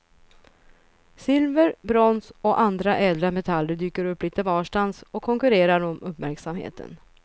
Silver, brons och andra ädla metaller dyker upp lite varstans och konkurrerar om uppmärksamheten.